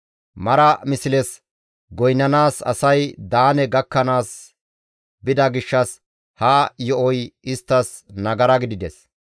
Mara misles goynnanaas asay Daane gakkanaas bida gishshas ha yo7oy isttas nagara gidides.